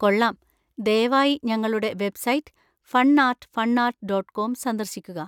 കൊള്ളാം! ദയവായി ഞങ്ങളുടെ website fun art fun art dot com സന്ദർശിക്കുക.